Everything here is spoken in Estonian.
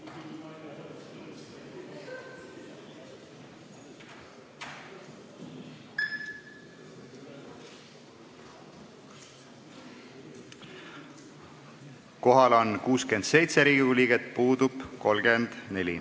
Kohaloleku kontroll Kohal on 67 Riigikogu liiget, puudub 34.